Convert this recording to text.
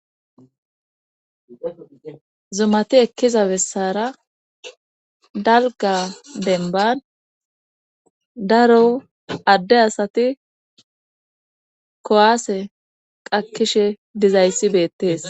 zumati ekkiza bessara dalga denban daro adde asati kuwaase qakishe dizayssi beettees